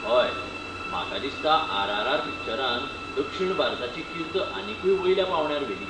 हय, म्हाका दिसता आर. आर. आर.पिक्चरान दक्षिण भारताची कीर्त आनीकूय वयल्या पांवड्यार व्हेली.